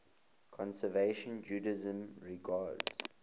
conservative judaism regards